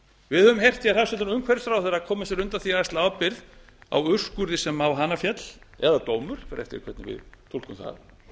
við höfum heyrt hér hæstvirtur umhverfisráðherra koma sér undan því að axla ábyrgð á úrskurði sem á hana féll eða dómur það fer eftir því hvernig við túlkum það